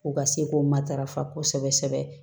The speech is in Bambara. U ka se k'o matarafa kosɛbɛ kosɛbɛ